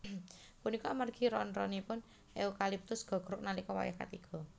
Punika amargi ron ronipun eukaliptus gogrog nalika wayah katiga